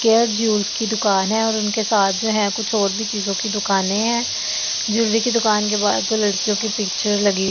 care Jewels की दुकान है और उनके साथ जो है कुछ और भी चीजों की दुकानें हैं ज्वेलरी की दुकान के बाद जो लड़कियों की पिक्चर लगी --